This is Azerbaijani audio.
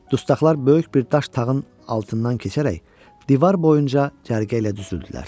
Dustağlar böyük bir daş tağın altından keçərək divar boyunca cərgə ilə düzüldülər.